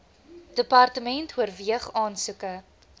department oorweeg aansoeke